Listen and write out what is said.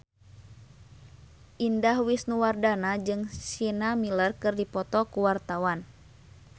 Indah Wisnuwardana jeung Sienna Miller keur dipoto ku wartawan